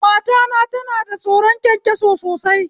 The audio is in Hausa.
Matana tana da tsoron kyankyaso sosai